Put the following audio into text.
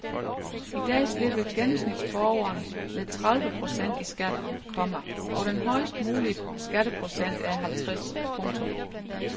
I dag slipper gennemsnitsborgeren med tredive procent i skat, komma og den højest mulige skatteprocent er halvtreds. punktum